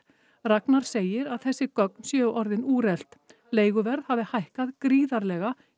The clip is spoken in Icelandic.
Ragnar segir að þessi gögn séu orðin úrelt leiguverð hafi hækkað gríðarlega